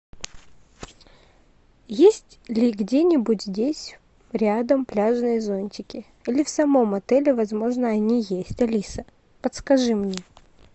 есть ли где нибудь здесь рядом пляжные зонтики или в самом отеле возможно они есть алиса подскажи мне